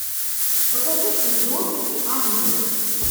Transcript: покажи идиоты и ангелы